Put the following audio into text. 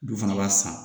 Du fana b'a san